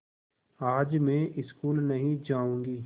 आज मैं स्कूल नहीं जाऊँगी